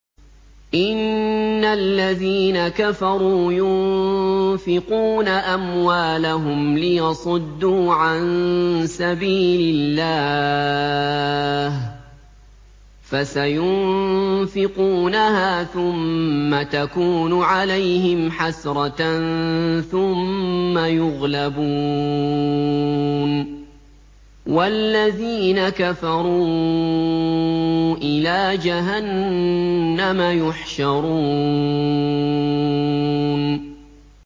إِنَّ الَّذِينَ كَفَرُوا يُنفِقُونَ أَمْوَالَهُمْ لِيَصُدُّوا عَن سَبِيلِ اللَّهِ ۚ فَسَيُنفِقُونَهَا ثُمَّ تَكُونُ عَلَيْهِمْ حَسْرَةً ثُمَّ يُغْلَبُونَ ۗ وَالَّذِينَ كَفَرُوا إِلَىٰ جَهَنَّمَ يُحْشَرُونَ